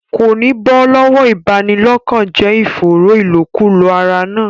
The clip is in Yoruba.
Kò ní bọ́ lọ́wọ́ ìbanilọ́kànjẹ́ ìfòòró ìlòkulò ara náà.